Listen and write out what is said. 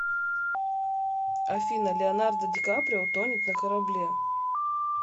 афина леонардо ди каприо тонет на корабле